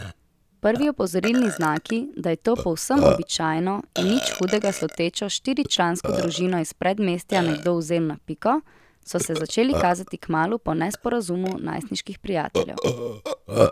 Prvi opozorilni znaki, da je to povsem običajno in nič hudega slutečo štiričlansko družino iz predmestja nekdo vzel na piko, so se začeli kazati kmalu po nesporazumu najstniških prijateljev.